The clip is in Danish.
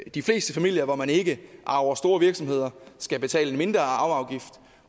i de fleste familier hvor man ikke arver store virksomheder skulle betale en mindre arveafgift